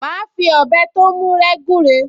Màá fi ọ̀bẹ tó mú rẹ́ gúre